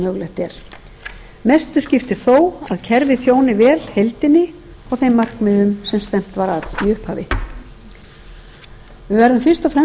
mögulegt er mestu skiptir þó að kerfið þjóni vel heildinni og þeim markmiðum sem stefnt var að í upphafi við verðum fyrst og fremst að